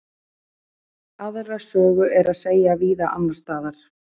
aðra sögu er að segja víða annars staðar